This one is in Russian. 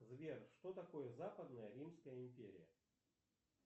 сбер что такое западная римская империя